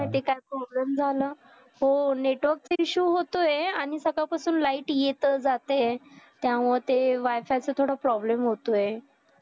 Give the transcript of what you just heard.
काय माहित आहे काय problem झाला हो network तर issue होतोय आणि सकाळ पासून light येत जातेय त्यामुळे ते wi-fi च थोडं problem होतोय